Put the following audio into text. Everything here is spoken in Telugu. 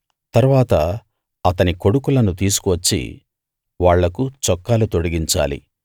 తరువాత అతని కొడుకులను తీసుకువచ్చి వాళ్లకు చొక్కాలు తొడిగించాలి